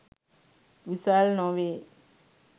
විසල් නොවේ.